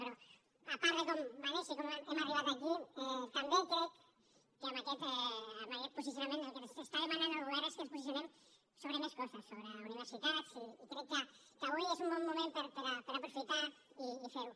però a part de com va néixer i com hem arribat aquí també crec que amb aquest posicionament el que ens demana el govern és que ens posicionem sobre més coses sobre universitats i crec que avui és un bon moment per aprofitar i fer ho